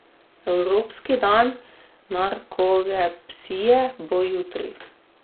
Evropski dan narkolepsije bo jutri.